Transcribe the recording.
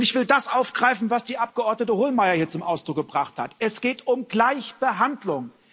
Ich will das aufgreifen, was die Abgeordnete Hohlmeier hier zum Ausdruck gebracht hat Es geht um Gleichbehandlung.